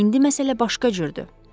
İndi məsələ başqa cürdür.